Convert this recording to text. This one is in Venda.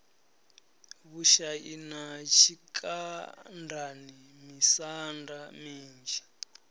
vhushani na tshikandani misanda minzhi